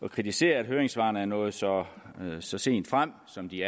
at kritisere at høringssvarene er nået så så sent frem som de